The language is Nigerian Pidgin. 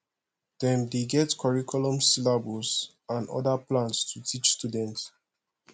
dem dey get curriculum syllabus and oda plans to teach students